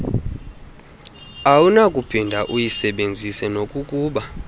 awunakuphinde uyisebenzise nokokuba